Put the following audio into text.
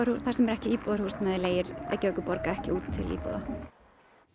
þar sem ekki er íbúðahúsnæði leigir Reykjavíkurborg ekki út til íbúa